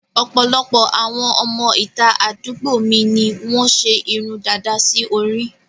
Ọ̀pọ̀lọpọ̀ àwọn ọmọ ìta àdúgbò mi ni wọ́n ṣe irun dàda sí orí